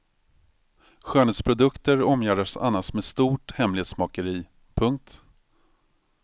Skönhetsprodukter omgärdas annars med stort hemlighetsmakeri. punkt